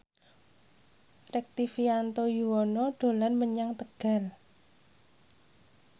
Rektivianto Yoewono dolan menyang Tegal